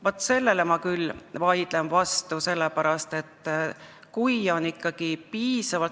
Vaat sellele ma vaidlen küll vastu.